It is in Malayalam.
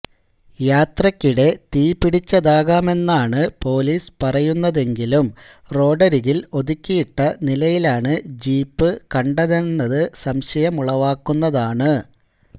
യാത്രയ്ക്കിടെ തീപിടിച്ചതാകാമെന്നാണ് പൊലീസ് പറയുന്നതെങ്കിലും റോഡരികില് ഒതുക്കിയിട്ട നിലയിലാണ് ജീപ്പ് കണ്ടതെന്നത് സംശയമുളവാക്കുന്നതാണ്